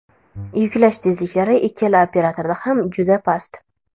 Yuklash tezliklari ikkala operatorda ham juda past.